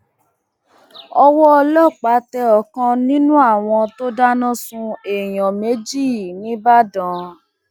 owó ọlọpàá tẹ ọkan nínú àwọn tó dáná sun èèyàn méjì níìbàdàn